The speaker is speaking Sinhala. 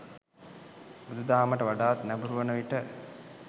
බුදු දහමට වඩාත් නැඹුරු වන විට